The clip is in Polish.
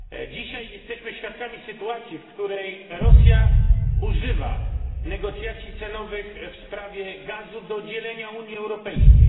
Dzisiaj jesteśmy świadkami sytuacji, w której Rosja używa negocjacji cenowych w sprawie gazu do dzielenia Unii Europejskiej.